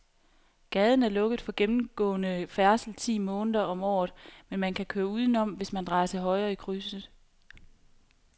Gaden er lukket for gennemgående færdsel ti måneder om året, men man kan køre udenom, hvis man drejer til højre i krydset.